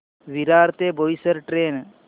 विरार ते बोईसर ट्रेन